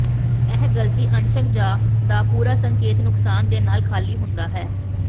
ਇਹ ਗਲਤੀ ਅੰਸ਼ਕ ਜ ਦਾ ਪੂਰਾ ਸੰਕੇਤ ਨੁਕਸਾਨ ਦੇ ਨਾਲ ਖ਼ਾਲੀ ਹੁੰਦਾ ਹੈ